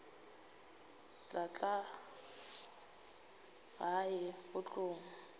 tla tla gae go tlo